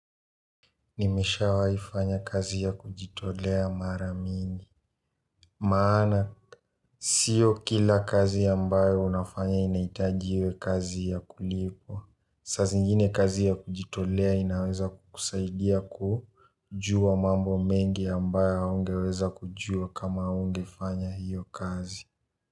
Nimeshawai fanya kazi ya kujitolea mara mingi maana sio kila kazi ya ambayo unafanya inaitaji iwe kazi ya kulipwa saa zingine kazi ya kujitolea inaweza kukusaidia kujua mambo mengi ya ambayo haungeweza kujua kama haungefanya hiyo kazi.